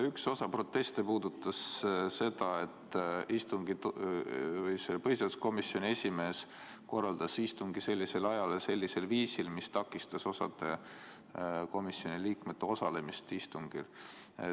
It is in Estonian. Üks osa proteste puudutas seda, et põhiseaduskomisjoni esimees korraldas istungi sellisel ajal ja sellisel viisil, mis takistas osa komisjoni liikmete osalemist istungil.